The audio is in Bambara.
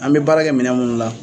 An bɛ baara kɛ minɛn minnu la,